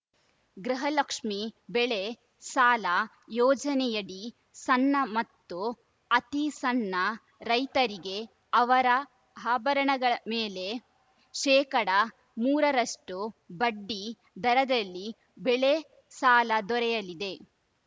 ಗೃಹಲಕ್ಷ್ಮಿ ಬೆಳೆ ಸಾಲ ಯೋಜನೆಯಡಿ ಸಣ್ಣ ಮತ್ತು ಅತೀ ಸಣ್ಣ ರೈತರಿಗೆ ಅವರ ಆಭರಣಗಳ ಮೇಲೆ ಶೇಕಡಾ ಮೂರರಷ್ಟುಬಡ್ಡಿ ದರದಲ್ಲಿ ಬೆಳೆ ಸಾಲ ದೊರೆಯಲಿದೆ